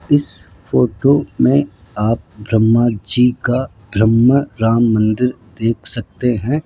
इस फोटो में आप ब्रम्हा जी का ब्रम्ह राम मंदिर देख सकते हैं।